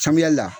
Samiya la